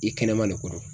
I kɛnɛma de ko don